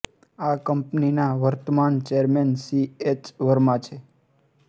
આ કંપનીના વર્તમાન ચૅરમેન સી એસ વર્મા છે